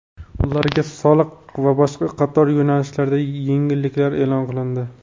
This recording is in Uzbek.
ularga soliq va boshqa qator yo‘nalishlarda yengilliklar e’lon qilindi.